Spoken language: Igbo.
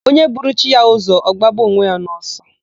Onye buru chi ya ụzọ, ọ gbagbuo onwe ya n'ọsọ.